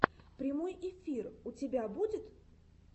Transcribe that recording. прямой эфир у тебя будет